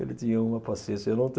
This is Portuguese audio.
Ele tinha uma paciência. Eu não